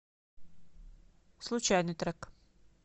случайный трек